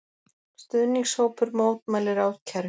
Stuðningshópur mótmælir ákæru